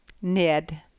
ned